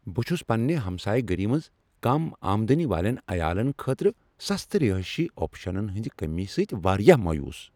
بہٕ چھس پنٛنہ ہمسایہٕ گٔری منٛز کم آمدنی والین عیالن خٲطرٕ سستہٕ رہٲیشی آپشنن ہنٛز کمی سۭتۍ واریاہ مایوس۔